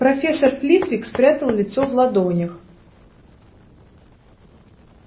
профессор флитвик спрятал лицо в ладонях